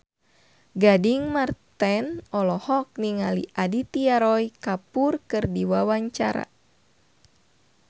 Gading Marten olohok ningali Aditya Roy Kapoor keur diwawancara